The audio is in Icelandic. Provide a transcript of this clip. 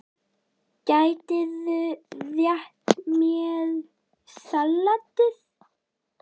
Gætirðu rétt mér saltið?